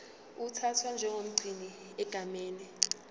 uthathwa njengomgcini egameni